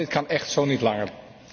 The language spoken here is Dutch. Want dit kan echt zo niet langer.